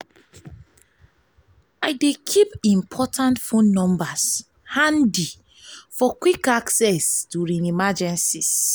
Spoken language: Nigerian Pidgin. i dey keep important phone numbers handy for quick access during emergencies.